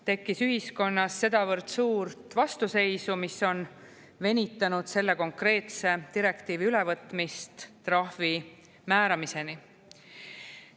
Tekkis ühiskonnas sedavõrd suurt vastuseisu, mis on venitanud selle konkreetse direktiivi ülevõtmist trahvi määramiseni.